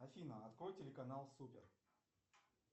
афина открой телеканал супер